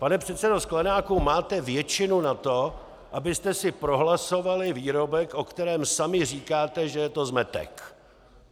Pane předsedo Sklenáku, máte většinu na to, abyste si prohlasovali výrobek, o kterém sami říkáte, že je to zmetek.